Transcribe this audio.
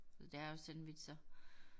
Det er jo sandwicher